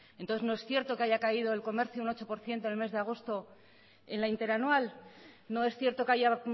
entonces no es cierto que haya caído el comercio un ocho por ciento en el mes de agosto en la interanual no es cierto que haya